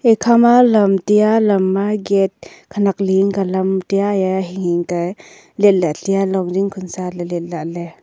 ekha ma lamtia lam ma gate khanak liyengka lam tia ya hing ka letla tiya longding khonsa le letla ley.